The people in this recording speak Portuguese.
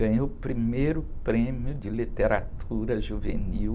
Ganhei o primeiro prêmio de literatura juvenil